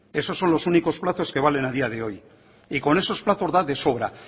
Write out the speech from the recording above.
esos son los únicos plazos que valen a día de hoy y con esos plazos da de sobra